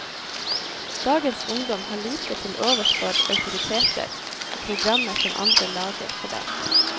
Dagens ungdom har lite til overs for autoriteter og programmer som andre lager for dem.